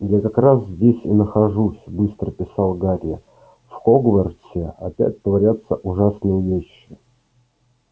я как раз здесь и нахожусь быстро писал гарри в хогвартсе опять творятся ужасные вещи